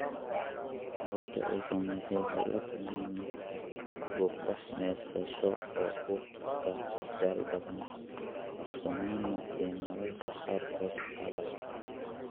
Carruurta ay saamaysay waxay la kulmaan matag, fuuqbax, neefsasho oo ku adkaata, daal badan (daaqsanaan), iyo mararka qaarkood qalal.